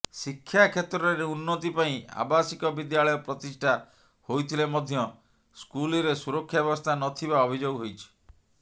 ଶିକ୍ଷାକ୍ଷେତ୍ରରେ ଉନ୍ନତି ପାଇଁ ଆବାସିକ ବିଦ୍ୟାଳୟ ପ୍ରତିଷ୍ଠା ହୋଇଥିଲେ ମଧ୍ୟ ସ୍କୁଲରେ ସୁରକ୍ଷା ବ୍ୟବସ୍ଥା ନଥିବା ଅଭିଯୋଗ ହୋଇଛି